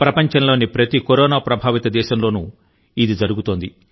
ప్రపంచంలోని ప్రతి కరోనా ప్రభావిత దేశంలోనూ ఇది జరుగుతోంది